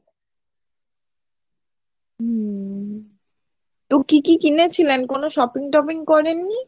হুম কি কি কিনেছিলেন ? কোনো sopping টপিং করেননি ?